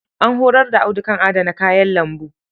An horar da Audu kan adana kayan lambu.